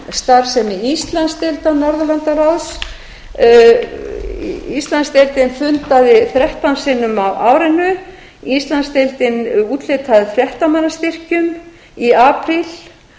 starfsemi íslandsdeildar norðurlandaráðs íslandsdeildin fundaði þrettán sinnum á árinu íslandsdeildin úthlutaði fréttamannastyrkjum í apríl